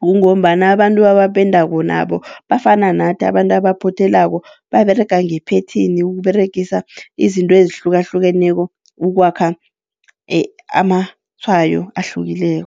Kungombana abantu abapendako nabo bafana nathi abantu baphothelako baberega ngephethini yokuberegisa izinto ezihlukahlukeneko ukwakha amatshwayo ahlukileko.